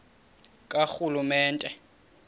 karhulumente